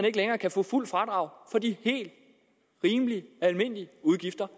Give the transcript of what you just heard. ikke længere kan få fuldt fradrag for de helt rimelige almindelige udgifter